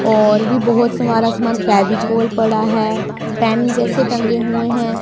और भी बहोत सवारा समान फेविकोल पड़ा है पेन जैसे टंगे हुए हैं।